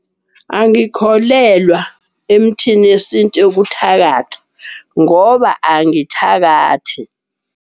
Angikholelwa emthini yesintu yokuthakatha ngoba angithakathi.